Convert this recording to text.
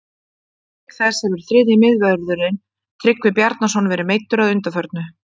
Auk þess hefur þriðji miðvörðurinn Tryggvi Bjarnason verðið meiddur að undanförnu.